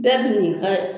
Bɛɛ bi n'i ka